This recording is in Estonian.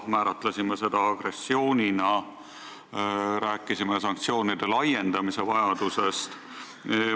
Määratlesime seda agressioonina ja rääkisime sanktsioonide laiendamise vajadusest.